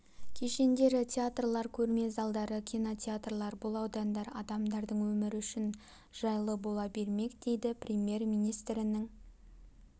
кешендері театрлар көрме залдары кинотеатрлар бұл аудандар адамдардың өмірі үшін жайлы бола бермек дейді премьер-министрінің